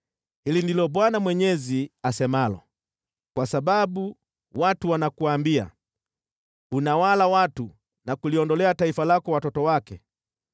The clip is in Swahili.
“ ‘Hili ndilo Bwana Mwenyezi asemalo: Kwa sababu watu wanakuambia, “Unawala watu na kuliondolea taifa lako watoto wake,”